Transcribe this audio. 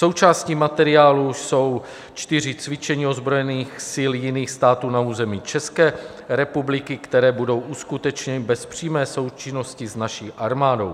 Součástí materiálu jsou čtyři cvičení ozbrojených sil jiných států na území České republiky, které budou uskutečněny bez přímé součinnosti s naší armádou.